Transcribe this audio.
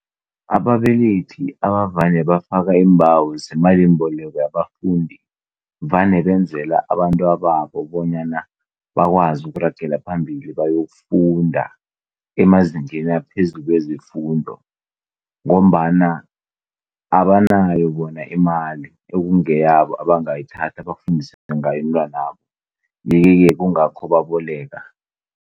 Ababelethi ebavane bafaka iimbawo zemalimboleko yabafundi, vane benzela abantwababo bonyana bakwazi ukuragela phambili bayokufunda emazingeni aphezulu wezefundo ngombana abanayo bona imali ekungeyabo abangayithatha bafundise ngayo abentwana babo, kungakho baboleka.